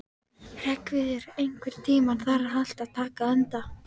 Hreggviður, einhvern tímann þarf allt að taka enda.